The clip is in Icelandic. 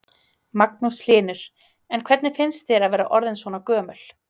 Magnús Hlynur: En hvernig finnst þér að vera orðin svona gömul?